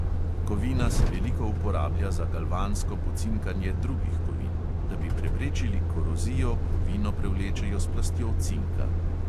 Kovina se veliko uporablja za galvansko pocinkanje drugih kovin; da bi preprečili korozijo, kovino prevlečejo s plastjo cinka.